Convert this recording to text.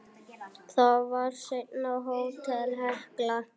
Það var seinna Hótel Hekla.